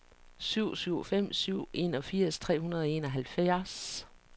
syv syv fem syv enogfirs tre hundrede og enoghalvfjerds